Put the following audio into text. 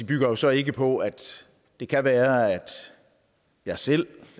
bygger jo så ikke på at det kan være at jeg selv